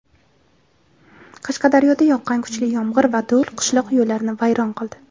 Qashqadaryoda yoqqan kuchli yomg‘ir va do‘l qishloq yo‘llarini vayron qildi.